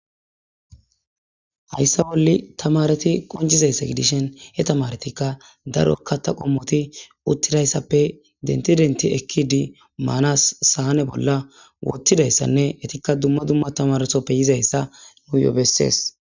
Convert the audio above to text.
hayssa bolli tamareti qonjizayssa gidishin he tamaretikka darokka ta qommoti uttidayssappe denti denti ekki di maanas saane bolla wottidayssanne etikka dumma dumma tamaresoppe yizayssa nuyo bessees